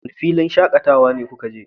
wane filin shakatawa kuka je?